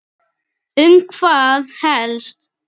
Um hvað helst?